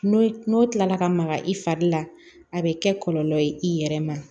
N'o n'o tilala ka maga i fari la a bɛ kɛ kɔlɔlɔ ye i yɛrɛ ma